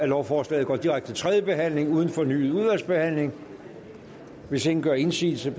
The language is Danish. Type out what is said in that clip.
lovforslag går direkte til tredje behandling uden fornyet udvalgsbehandling hvis ingen gør indsigelse